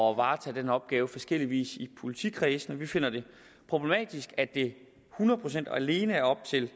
varetage den opgave på forskellig vis i politikredsene vi finder det problematisk at det hundrede procent og alene er op til